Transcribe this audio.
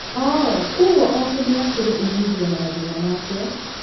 Oo kuũguo okĩmera kĩrĩ ũmithio na mathina maakĩo?